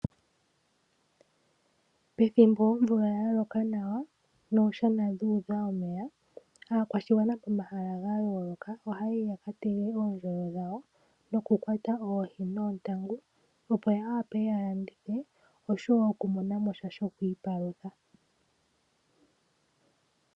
Pethimbo omvula yaloka nawa niishana yuudha omeya aakwashigwana pomahala gayooloka ohaya yi yaka tege oondjolo dhawo nokukwata oohi noontangu opo yawape yalandithe okumonamo sha shokwiipalutha.